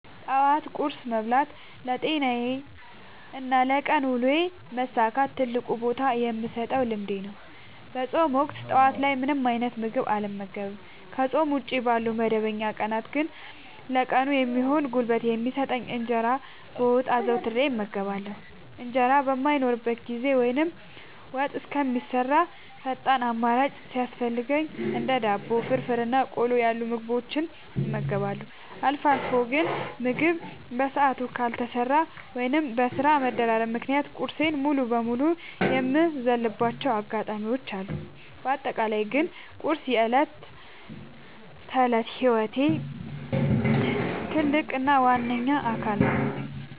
ጠዋት ቁርስ መብላት ለጤናዬና ለቀን ውሎዬ መሳካት ትልቅ ቦታ የምሰጠው ልምዴ ነው። በፆም ወቅት ጠዋት ላይ ምንም አይነት ምግብ አልመገብም። ከፆም ውጪ ባሉ መደበኛ ቀናት ግን ለቀኑ የሚሆን ጉልበት የሚሰጠኝን እንጀራ በወጥ አዘውትሬ እመገባለሁ። እንጀራ በማይኖርበት ጊዜ ወይም ወጥ እስከሚሰራ ፈጣን አማራጭ ሲያስፈልገኝ እንደ ዳቦ፣ ፍርፍር እና ቆሎ ያሉ ምግቦችን እመገባለሁ። አልፎ አልፎ ግን ምግብ በሰዓቱ ካልተሰራ ወይም በስራ መደራረብ ምክንያት ቁርሴን ሙሉ በሙሉ የምዘልባቸው አጋጣሚዎች አሉ። በአጠቃላይ ግን ቁርስ የዕለት ተዕለት ህይወቴ ትልቅ እና ዋነኛ አካል ነው።